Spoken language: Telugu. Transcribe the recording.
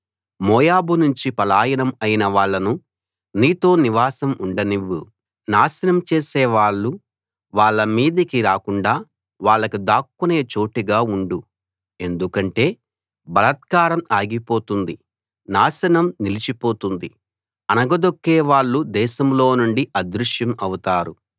మోయాబు నుంచి పలాయనం అయిన వాళ్ళను నీతో నివాసం ఉండనివ్వు నాశనం చేసే వాళ్ళు వాళ్ళ మీదకి రాకుండా వాళ్లకు దాక్కునే చోటుగా ఉండు ఎందుకంటే బలాత్కారం ఆగిపోతుంది నాశనం నిలిచిపోతుంది అణగదొక్కేవాళ్ళు దేశంలో నుండి అదృశ్యం అవుతారు